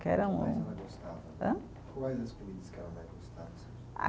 Que era um. Quais ela gostava? Hã? Quais as comidas que ela mais gostava? Ah